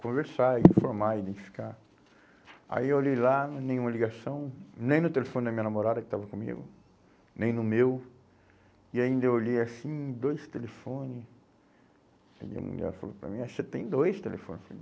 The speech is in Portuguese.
conversar, informar, identificar, aí eu olhei lá, nenhuma ligação, nem no telefone da minha namorada que estava comigo, nem no meu, e ainda eu olhei assim, dois telefone, aí a mulher falou para mim, é, você tem dois telefone.